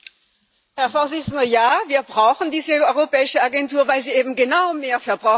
Ja, wir brauchen diese europäische Agentur, weil sie eben genau mehr Verbraucherschutz bedeutet.